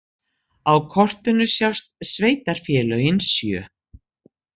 Á kortinu sjást sveitarfélögin sjö.